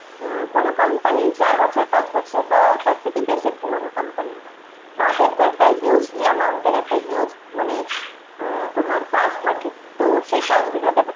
উম কোন company চার বছর পাঁচ বছর বা তার থেকে বেশি পুরনো company। তাদের তো একটা huge ই amount এর একটা huge মানে উম তোমার কাজ থাকে, তো সে কাজগুলোকে তো